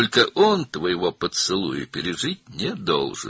Sadəcə o sənin öpüşündən sağ çıxmamalıdır.